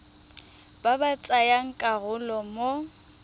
ba ba tsayang karolo mo